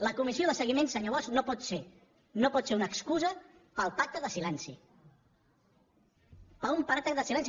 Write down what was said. la comissió de seguiment senyor bosch no pot ser una excusa per al pacte de silenci per a un pacte de silenci